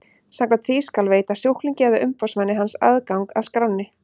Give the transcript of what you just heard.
Samkvæmt því skal veita sjúklingi eða umboðsmanni hans aðgang að skránni.